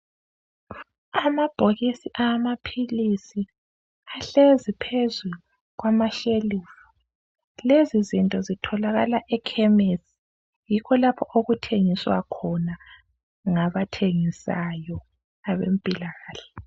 Amabhokisi amaphilisi ahlezi phezulu kwama tafula, lezi zinto zitholakala ekhemesi yikho lapho okuthengiswa khona ngabathengisayo abempilakahle.